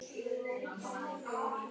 Síðan kemur þetta innskot.